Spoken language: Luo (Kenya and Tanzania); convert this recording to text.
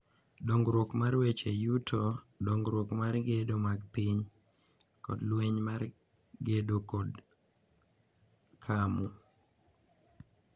Dongruok mar weche yuto, dongruok mar gedo mag piny, kod lweny mar kedo kod camu.